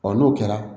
n'o kɛra